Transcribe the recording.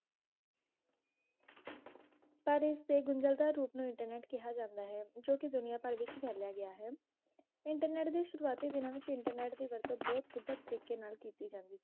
ਪਰ ਇਸਦੇ ਗੁੰਜਲਤਾ ਰੂਪ ਨੂੰ ਇੰਟਰਨੇਟ ਕਿਹਾ ਜਾਂਦਾ ਹੈ ਜੋ ਕਿ ਦੁਨੀਆਂ ਭਰ ਵਿਚ ਫੈਲਿਆ ਗਿਆ ਹੈ ਇੰਟਰਨੇਟ ਦੀ ਸ਼ੁਰੂਆਤੀ ਦਿਨਾਂ ਵਿਚ ਇੰਟਰਨੇਟ ਦੀ ਵਰਤੋਂ ਬਹੁਤ ਗੁਪਤ ਤਰੀਕੇ ਨਾਲ ਕੀਤੀ ਜਾਂਦੀ ਸੀ